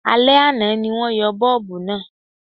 Alẹ́ àná ni wọ́n yọ bọ́ọ̀bù náà